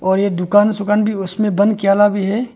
और यह दुकान सुकान भी उस में भी है।